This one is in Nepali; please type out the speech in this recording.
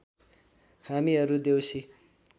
हामीहरू देउसी